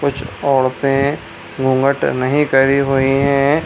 कुछ औरतें घूघंट नहीं करी हुई है ।